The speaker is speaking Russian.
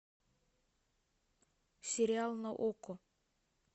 сериал на окко